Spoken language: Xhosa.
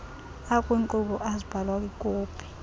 akwinkqubo azibhalwa kwikopi